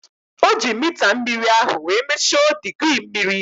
O ji mita mmiri ahu wee mesho digirii mmiri